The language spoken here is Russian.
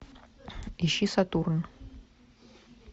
ищи сатурн